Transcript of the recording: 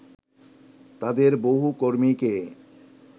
তাদের বহু কর্মীকে